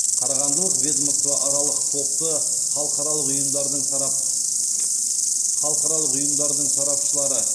қарағандылық ведомствоаралық топты халықаралық ұйымдардың сарапшылары